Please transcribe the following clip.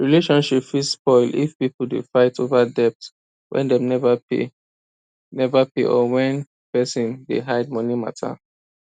relationship fit spoil if people dey fight over debt wey dem never pay never pay or when person dey hide money matter